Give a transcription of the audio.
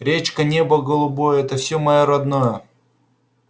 речка небо голубое это всё моё родное